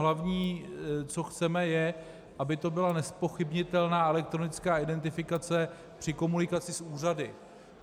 Hlavní, co chceme, je, aby to byla nezpochybnitelná elektronická identifikace při komunikaci s úřady.